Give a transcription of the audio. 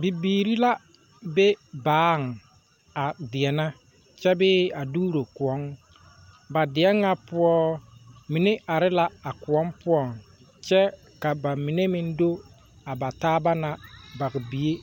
Bibiiri la be baaŋ a deɛnɛ kyɛbee a dooro koɔ, ba deɛn nyɛ poɔ mine are la koɔ poɔŋ kyɛ ka ba mine na do bataaba na baŋbie